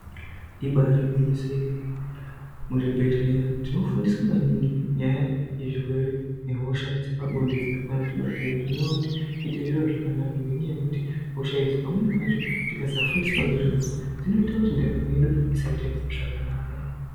Ibari gwinyiso yemene muzvibhedhleya tinofundiswa maningi nyaya yezvihwere nehosha dzepanonde dzokwanatibatira zvinova kuti zviite zviro zvakanaka ngentaya yekuti hosha idzi pamweni pacho tikasafundiswa ngezvadzo zvinoita kuti ndaramo yedu isaite zvakanaka.